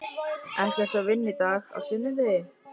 Ekki ertu að vinna í dag, á sunnudegi?